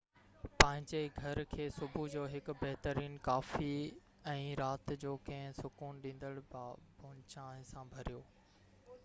پنھنجي گهر کي صبح جو هڪ بهترين ڪافي ۽ رات جو ڪنهن سڪون ڏيندڙ بابونه چانهه سان ڀريو